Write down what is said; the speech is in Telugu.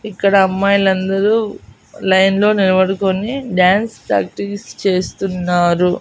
ఇక్కడ అమ్మాయిలందరూ లైన్లో నిలబడుకొని డాన్స్ ప్రాక్టీస్ చేస్తున్నారు.